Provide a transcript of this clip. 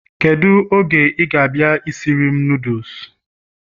Kedu oge ị ga-abịa isiri m noodles?